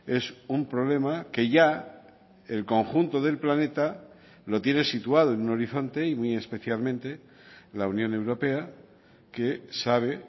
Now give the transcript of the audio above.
es un problema que ya el conjunto del planeta lo tiene situado en un horizonte y muy especialmente la unión europea que sabe